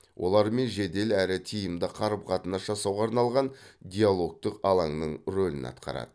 олармен жедел әрі тиімді қарым қатынас жасауға арналған диалогтық алаңның рөлін атқарады